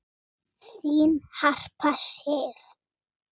Þín Harpa Sif.